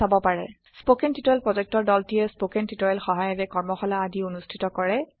spoken tutorial প্ৰকল্পৰ দলটিয়ে spoken টিওটৰিয়েলৰ সহায়েৰে কৰ্মশালা আদি অনুষ্ঠিত কৰে